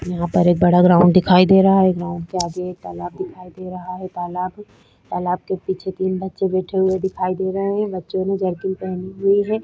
यहाँ पर एक बड़ा ग्राउंड दिखाई दे रहा है ग्राउंड के आगे एक बड़ा तालाब दिखाई दे रहा है तालाब तालाब के पीछे तीन बच्चे बैठे हुए दिखाई दे रहें हैं बच्चो ने जैकेट पहनी हुई है।